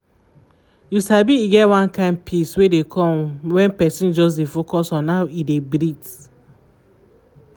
you sabi e get one kind peace wey dey come when person just dey focus on how e dey breathe